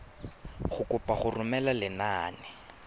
go kopa go romela lenane